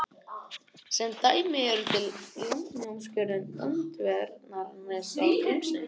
Sem dæmi um þetta er landnámsjörðin Öndverðarnes í Grímsnesi.